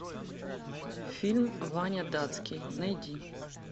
фильм ваня датский найди